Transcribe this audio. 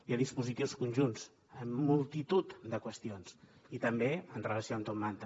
hi ha dispositius conjunts en multitud de qüestions i també en relació amb top manta